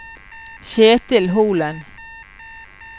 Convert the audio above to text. Ketil Holen